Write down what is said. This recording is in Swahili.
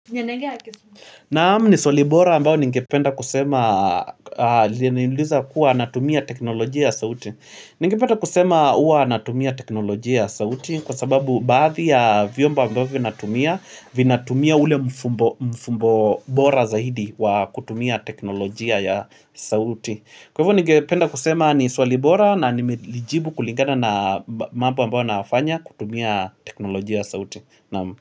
Naam ni swali bora ambayo ningependa kusema Ningependa kusema huwa natumia teknolojia ya sauti ningepata kusema huwa natumia teknolojia ya sauti Kwa sababu baadhi ya vyombo ambavyo natumia Vinatumia ule mfumbo bora zaidi wa kutumia teknolojia ya sauti Kwa hivyo ningependa kusema ni swalibora na nimejibu kulingana na mambo ambayo nayafanya kutumia teknolojia ya sauti Naam.